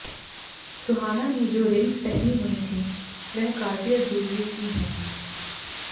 सुहाना ने जो रिंग्स पहनी हुई थी वह कार्टियर जूलरी की हैं